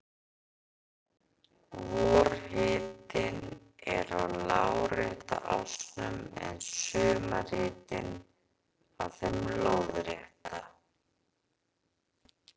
Vorhitinn er á lárétta ásnum en sumarhitinn á þeim lóðrétta.